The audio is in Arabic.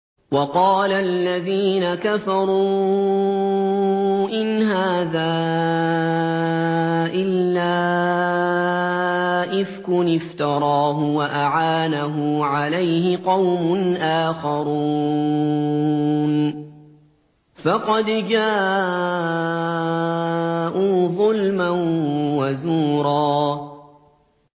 وَقَالَ الَّذِينَ كَفَرُوا إِنْ هَٰذَا إِلَّا إِفْكٌ افْتَرَاهُ وَأَعَانَهُ عَلَيْهِ قَوْمٌ آخَرُونَ ۖ فَقَدْ جَاءُوا ظُلْمًا وَزُورًا